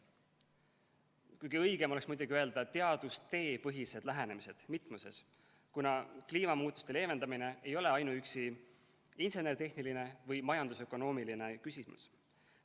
Kuigi õigem oleks muidugi öelda "teadustepõhised lähenemised", mitmuses, kuna kliimamuutuste leevendamine ei ole ainuüksi insener-tehniline või majanduslik-ökonoomiline küsimus.